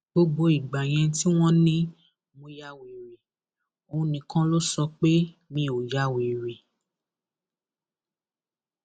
gbogbo ìgbà yẹn tí wọn ní mo ya wèrè òun nìkan ló sọ pé mi ò ya wèrè